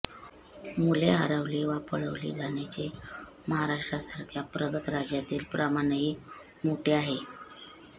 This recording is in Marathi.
मुले हरवली वा पळवली जाण्याचे महाराष्ट्रासारख्या प्रगत राज्यातील प्रमाणही मोठे आहे